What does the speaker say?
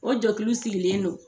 O jɛkulu sigilen don.